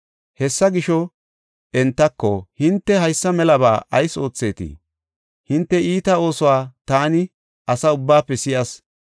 Hessa gisho entako, “Hinte haysa melaba ayis oothetii? Hinte iita oosuwa taani asa ubbaafe si7as.